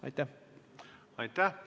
Aitäh!